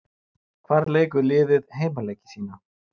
Hvar leikur liðið heimaleiki sína?